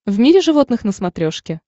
в мире животных на смотрешке